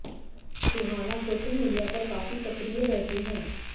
सुहाना social media पर काफी सक्रिय रहती हैं